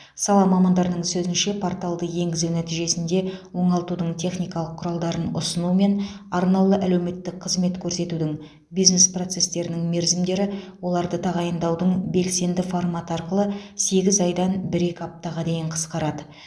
сала мамандарының сөзінше порталды енгізу нәтижесінде оңалтудың техникалық құралдарын ұсыну мен арнаулы әлеуметтік қызмет көрсетудің бизнес процестерінің мерзімдері оларды тағайындаудың белсенді форматы арқылы сегіз айдан бір екі аптаға дейін қысқарады